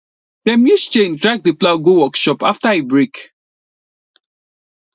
dem use chain drag the plow go workshop after e break